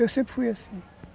Eu sempre fui assim.